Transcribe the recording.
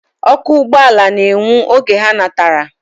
Oku ugboala na enwu oge ha natara.